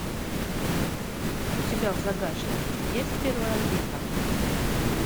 у тебя в загашнике есть первая орбита